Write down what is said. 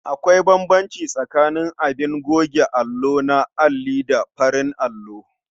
Akwai bambanci tsakaning abin goge allo na alli da na farin allo.